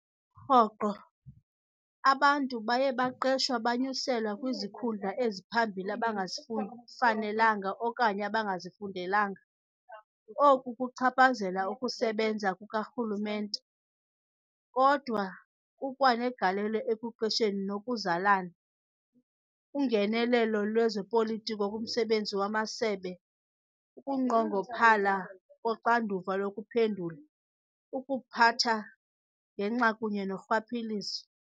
Rhoqo, abantu baye baqeshwa bonyuselwa kwizikhundla eziphambili abangazifanelanga okanye abangazifundelanga. Oku kuchaphazela ukusebenza kukarhulumente, kodwa kukwa negalelo ekuqesheni ngokuzalana, ungenelelo lwezopolitiko kumsebenzi wamasebe, ukunqongophala koxanduva lokuphendula, ukuphatha gwenxa kunye norhwaphilizo.